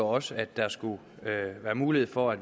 også at der skulle være mulighed for at